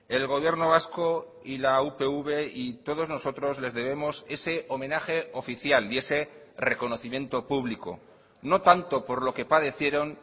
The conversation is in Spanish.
el gobierno vasco y la upv y todos nosotros les debemos ese homenaje oficial y ese reconocimiento público no tanto por lo que padecieron